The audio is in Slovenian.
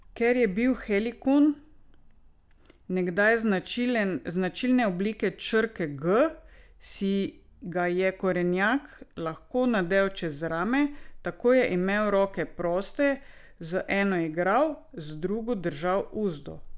Ker je bil helikon nekdaj značilne oblike črke G, si ga je konjenik lahko nadel čez rame, tako je imel roke proste, z eno je igral, z drugo držal uzdo.